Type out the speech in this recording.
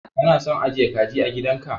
Kana son ajiye kaji a gidan ka